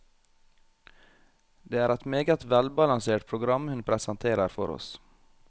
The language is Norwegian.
Det er et meget velbalansert program hun presenterer for oss.